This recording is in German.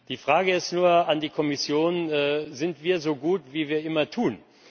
Die Frage ist nur an die Kommission Sind wir so gut, wie wir immer tun?